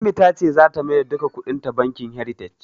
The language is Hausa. Ummi ta ce zata maida duka kuɗinta bankin "heritage".